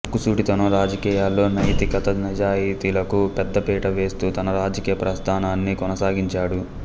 ముక్కుసూటితనం రాజకీయాల్లో నైతికత నిజాయితీలకు పెద్దపీట వేస్తూ తన రాజకీయ ప్రస్థానాన్ని కొనసాగించాడు